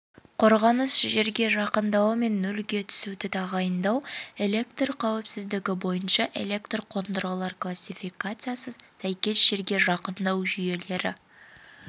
қорғаныс жерге жақындауы мен нөлге түсуді тағайындау электр қауіпсіздігі бойынша электр қондырғылар классификациясы сәйкес жерге жақындау жүйелері